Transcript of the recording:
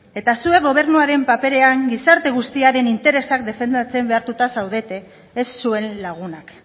eta zuek gobernuaren paperean gizarte guztiaren interesak defendatzen behartuta zaudete ez zuen lagunak